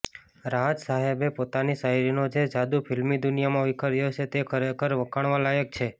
રાહત સાહેબે પોતાની શાયરીનો જે જાદૂ ફિલ્મી દુનિયામાં વિખેર્યો છે તે ખરેખરે વખાણવા લાયક છે